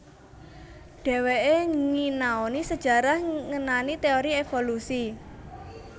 Dheweke nginaoni sejarah ngenani teori evolusi